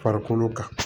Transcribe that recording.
Farikolo kan